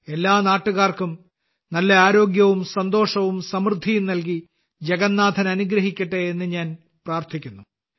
എല്ലാ നാട്ടുകാർക്കും നല്ല ആരോഗ്യവും സന്തോഷവും സമൃദ്ധിയും നൽകി ജഗന്നാഥൻ അനുഗ്രഹിക്കട്ടെ എന്ന് ഞാൻ പ്രാർത്ഥിക്കുന്നു